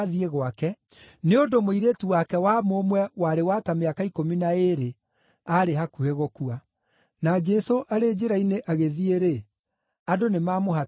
nĩ ũndũ mũirĩtu wake wa mũmwe warĩ wa ta mĩaka ikũmi na ĩĩrĩ aarĩ hakuhĩ gũkua. Na Jesũ arĩ njĩra-inĩ agĩthiĩ-rĩ, andũ nĩmamũhatĩkaga.